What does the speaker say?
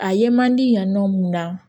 A ye man di yan nɔ mun na